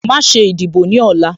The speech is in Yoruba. Má ṣe ìdìbò ní ọ̀la